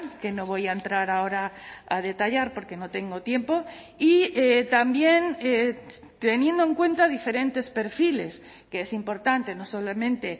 que no voy a entrar ahora a detallar porque no tengo tiempo y también teniendo en cuenta diferentes perfiles que es importante no solamente